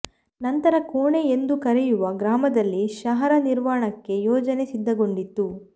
ನಂತರ ಕೋಣೆ ಎಂದು ಕರೆಯುವ ಗ್ರಾಮದಲ್ಲಿ ಶಹರ ನಿರ್ವಣಕ್ಕೆ ಯೋಜನೆ ಸಿದ್ಧಗೊಂಡಿತ್ತು